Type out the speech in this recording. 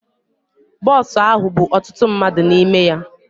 Bọs ahụ bú ọtụtụ mmadụ n'ime ya.